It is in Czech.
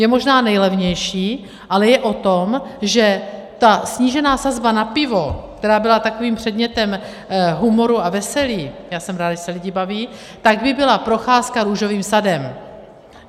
Je možná nejlevnější, ale je o tom, že ta snížená sazba na pivo, která byla takovým předmětem humoru a veselí, já jsem ráda, že se lidi baví, tak by byla procházka růžovým sadem.